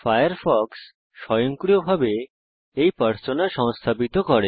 Firefox স্বয়ংক্রিয়ভাবে এই persona সংস্থাপিত করে